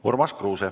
Urmas Kruuse.